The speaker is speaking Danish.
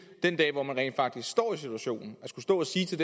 den dag hvor man rent faktisk står i den situation at skulle stå og sige til